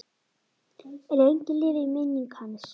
Lengi lifi minning hans.